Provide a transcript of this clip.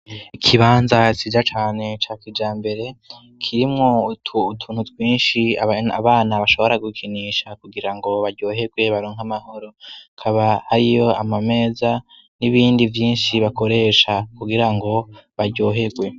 Ikibanza ciza cane ca kijambere kirimwo utuntu twinshi abana bashobora gukinisha ,kugira ngo baryoherwe baronk' amahoro, hakaba ariyo ama meza n'ibindi vyinshi bakoresha, kugira ngo baryoherwe.